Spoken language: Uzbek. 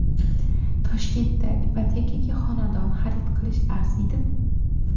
Toshkentda ipotekaga xonadon xarid qilishga arziydimi?